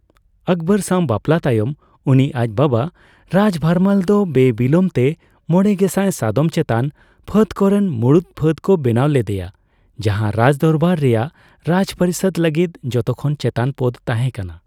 ᱟᱠᱵᱚᱨ ᱥᱟᱣ ᱵᱟᱯᱞᱟ ᱛᱟᱭᱚᱢ ᱩᱱᱤ ᱟᱡ ᱵᱟᱵᱟ ᱨᱟᱡᱽ ᱵᱷᱟᱨᱢᱟᱞ ᱫᱚ ᱵᱮ ᱵᱤᱞᱚᱢ ᱛᱮ ᱢᱚᱲᱮᱜᱮᱥᱟᱭ ᱥᱟᱫᱚᱢᱪᱮᱛᱟᱱ ᱯᱷᱟᱹᱫᱽ ᱠᱚ ᱨᱮᱱ ᱢᱩᱲᱩᱫ ᱯᱷᱟᱹᱫᱽ ᱠᱚ ᱵᱮᱱᱟᱣ ᱞᱮᱫᱮᱭᱟ, ᱡᱟᱦᱟᱸ ᱨᱟᱡᱽᱫᱚᱨᱵᱟᱨ ᱨᱮᱭᱟᱜ ᱨᱟᱡᱯᱚᱨᱤᱥᱚᱫ ᱞᱟᱹᱜᱤᱫ ᱡᱚᱛᱚᱠᱷᱚᱱ ᱪᱮᱛᱟᱱ ᱯᱚᱫ ᱛᱟᱦᱮᱸ ᱠᱟᱱᱟ ᱾